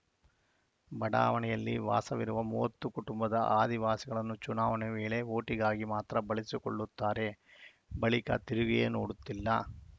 ಬಡಾವಣೆಯಲ್ಲಿ ವಾಸವಿರುವ ಮೂವತ್ತು ಕುಟುಂಬದ ಆದಿವಾಸಿಗಳನ್ನು ಚುನಾವಣೆ ವೇಳೆ ಓಟಿಗಾಗಿ ಮಾತ್ರ ಬಳಸಿಕೊಳ್ಳುತ್ತಾರೆ ಬಳಿಕ ತಿರುಗಿಯೇ ನೋಡುತ್ತಿಲ್ಲ